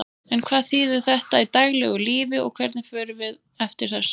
En hvað þýðir þetta í daglegu lífi og hvernig förum við eftir þessu?